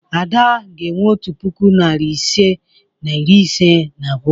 Ada ga-enwe otu puku, narị ise na iri ise na abụọ.